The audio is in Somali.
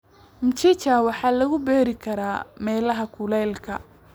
Mchicha waxaa lagu beeri karaa meelaha kuleyka.